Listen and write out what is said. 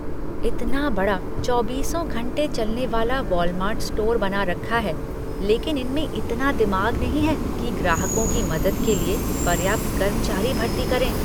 इतना बड़ा चौबीसों घंटे चलने वाला वॉलमार्ट स्टोर बना रखा है लेकिन इनमें इतना दिमाग नहीं है कि ग्राहकों की मदद के लिए पर्याप्त कर्मचारी भर्ती करें।